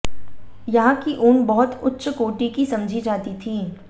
यहां की ऊन बहुत उच्च कोटि की समझी जाती थी